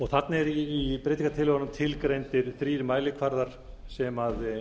þarna eru í breytingartillögunum tilgreindir þrír mælikvarðar sem